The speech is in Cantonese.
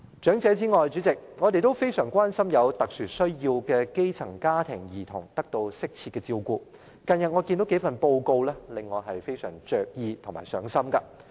主席，除長者之外，我們也非常關心有特殊需要的基層家庭兒童有否得到適切的照顧，但近日有數份報告令我非常着意和上心。